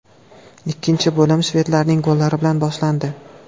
Ikkinchi bo‘lim shvedlarning gollari bilan boshlandi.